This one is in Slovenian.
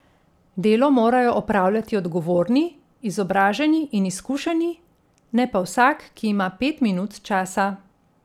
Delo morajo opravljati odgovorni, izobraženi in izkušeni, ne pa vsak, ki ima pet minut časa.